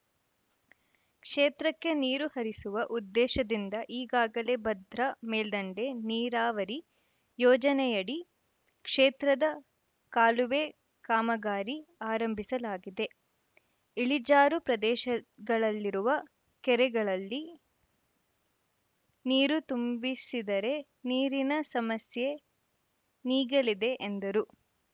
ಕ್ಷೇತ್ರಕ್ಕೆ ನೀರು ಹರಿಸುವ ಉದ್ದೇಶದಿಂದ ಈಗಾಗಲೇ ಭದ್ರಾ ಮೇಲ್ಡಂಡೆ ನೀರಾವರಿ ಯೋಜನೆಯಡಿ ಕ್ಷೇತ್ರದ ಕಾಲುವೆ ಕಾಮಗಾರಿ ಆರಂಭಿಸಲಾಗಿದೆ ಇಳಿಜಾರು ಪ್ರದೇಶಗಳಲ್ಲಿರುವ ಕೆರೆಗಳಲ್ಲಿ ನೀರು ತುಂಬಿಸಿದರೆ ನೀರಿನ ಸಮಸ್ಯೆ ನೀಗಲಿದೆ ಎಂದರು